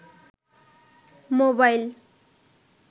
mobile